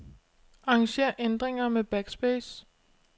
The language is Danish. Arranger ændringer med backspace.